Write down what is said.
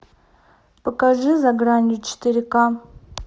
покажи за гранью четыре ка